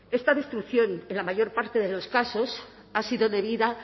esta destrucción en la mayor parte de los casos ha sido debida